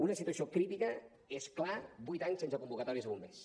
una situació crítica és clar vuit anys sense convocatòries a bombers